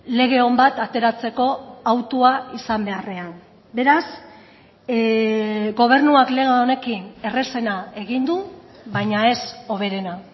lege on bat ateratzeko hautua izan beharrean beraz gobernuak lege honekin errazena egin du baina ez hoberena